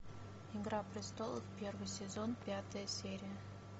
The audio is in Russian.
игра престолов первый сезон пятая серия